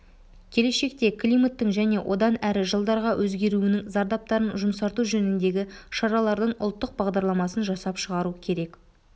келешекте климаттың және одан әрі жылдарға өзгеруінің зардаптарын жұмсарту жөніндегі шаралардың ұлттық бағдарламасын жасап шығару керек